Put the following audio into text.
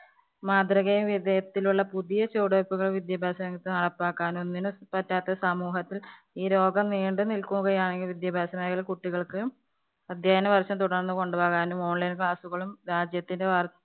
മാതൃകയില്‍ വിജയത്തിലുള്ള പുതിയ ചുവടുവെപ്പുകള്‍ വിദ്യാഭ്യാസ രംഗത്ത് നടപ്പാക്കാനും ഒന്നിനും പറ്റാത്ത സമൂഹത്തില്‍ ഈ രോഗം നീണ്ടുനില്‍ക്കുകയാണെങ്കില്‍ വിദ്യാഭ്യാസത്തിനായി കുട്ടികള്‍ക്ക് അധ്യയന വര്‍ഷം തുടര്‍ന്ന് കൊണ്ടുപോകാനും online class കളും രാജ്യത്തിന്‌ വ~